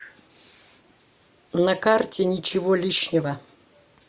на карте ничего лишнего